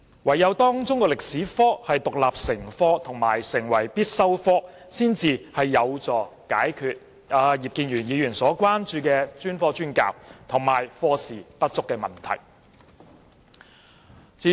唯有中史科獨立成科及成為必修科，才有助解決葉議員所關注的專科專教，以及課時不足的問題。